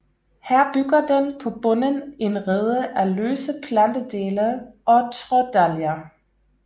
Her bygger den på bunden en rede af løse plantedele og trådalger